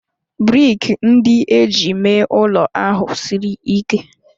brik ndị e ji mee ụlọ ahụ siri ike